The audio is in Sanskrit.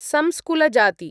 संस्कुलजाती